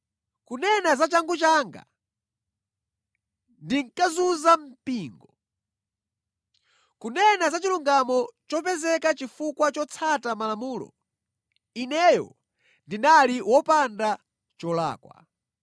Kunena za changu changa, ndinkazunza mpingo. Kunena za chilungamo chopezeka chifukwa chotsata malamulo, ineyo ndinali wopanda cholakwa.